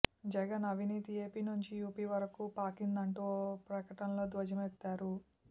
జగన్ అవినీతి ఏపీ నుంచి యూపీ వరకు పాకిందంటూ ఓ ప్రకటనలో ధ్వజమెత్తారు